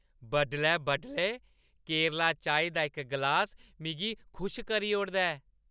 बडलै-बडलै केरला चाही दा इक ग्लास मिगी खुश करी ओड़दा ऐ।